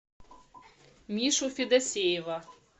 мишу федосеева